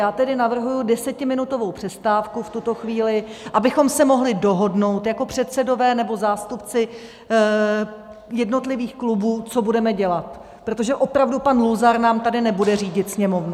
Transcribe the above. Já tedy navrhuji desetiminutovou přestávku v tuto chvíli, abychom se mohli dohodnout jako předsedové nebo zástupci jednotlivých klubů, co budeme dělat, protože opravdu pan Luzar nám tady nebude řídit Sněmovnu.